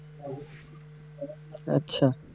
আচ্ছা।